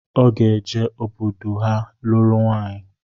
Ọ ga-eje obodo ha lụrụ nwaịyi